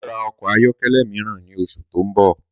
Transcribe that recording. Mà á ra ọkọ̀ ayọ́kẹ́lẹ́ mìíràn ní oṣù tó ń bọ̀